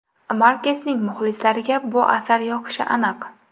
Markesning muxlislariga bu asar yoqishi aniq.